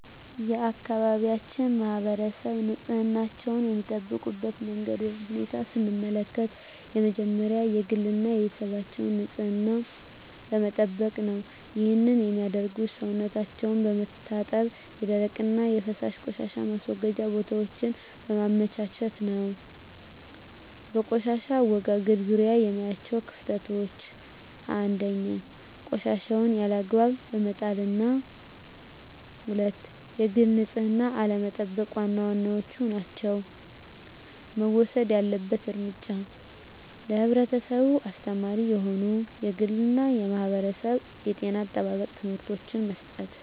የአካባቢያችን ማህበረሰብ ንፅህናቸዉን የሚጠብቁበት መንገድ ወይም ሁኔታን ስንመለከት የመጀመሪያዉ የግል እና የቤተሰባቸዉን ንፅህና በመጠበቅ ነዉ ይህንንም የሚያደርጉት ሰዉነታቸዉን በመታጠብ የደረቅና የፈሳሽ ቆሻሻ ማስወገጃ ቦታወችን በማመቻቸት ነዉ። በቆሻሻ አወጋገድ ዙሪያ የማያቸዉ ክፍተቶች፦ 1. ቆሻሻወችን ያለ አግባብ በመጣልና 2. የግል ንፅህናን አለመጠቅ ዋና ዋናወቹ ናቸዉ። መወሰድ ያለበት እርምጃ ለህብረተሰቡ አስተማሪ የሆኑ የግልና የማህበረሰብ የጤና አጠባበቅ ትምህርቶችን መስጠት።